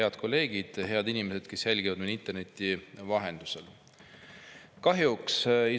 Head kolleegid ja head inimesed, kes jälgivad meid interneti vahendusel!